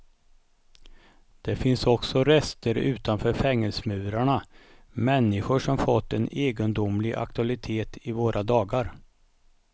Det finns också rester utanför fängelsemurarna, människor som fått en egendomlig aktualitet i våra dagar.